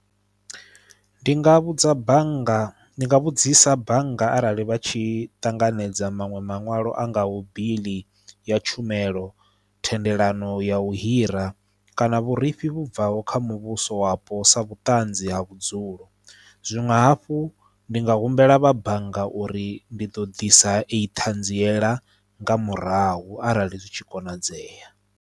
Ndi nga vhudza bannga ndi nga vhudzisa bannga arali vha tshi ṱanganedza maṅwe maṅwalo a ngaho biḽi ya tshumelo thendelano ya u hira kana vhurifhi vhu bvaho kha muvhuso wapo sa vhuṱanzi ha vhudzulo zwinwe hafhu ndi nga humbela vha bannga uri ndi ḓo ḓisa iyi ṱhanziela nga murahu arali zwi tshi konadzea.